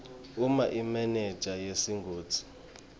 uma imenenja yesigodzi